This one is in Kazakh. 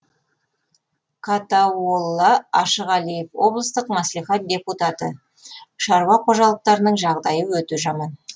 катауолла ашығалиев облыстық мәслихат депутаты шаруа қожалықтарының жағдайы өте жаман